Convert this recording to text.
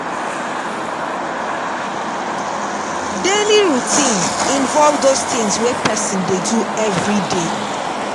Daily routine involve those things wey person dey do everyday